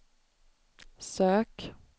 sök